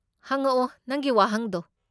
ꯍꯪꯉꯛꯑꯣ, ꯅꯪꯒꯤ ꯋꯥꯍꯪꯗꯣ?